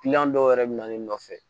dɔw yɛrɛ bɛ na ne nɔfɛ